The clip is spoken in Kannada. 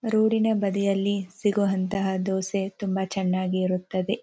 ರೋಡ್ ನ ಬದಿಯಲ್ಲಿ ಸಿಗುವಂತಹ ದೋಸೆ ತುಂಬಾ ಚೆನ್ನಾಗಿ ಇರುತ್ತದೆ.